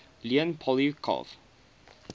leon poliakov